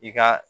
I ka